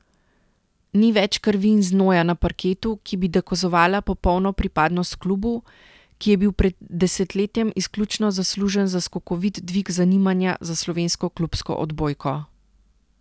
Ni več krvi in znoja na parketu, ki bi dokazovala popolno pripadnost klubu, ki je bil pred desetletjem izključno zaslužen za skokovit dvig zanimanja za slovensko klubsko odbojko.